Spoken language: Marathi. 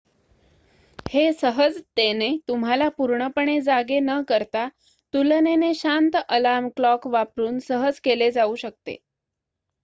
हे सहजतेने तुम्हाला पूर्णपणे जागे न करता तुलनेने शांत अलार्म क्लॉक वापरुन सहज केले जाऊ शकते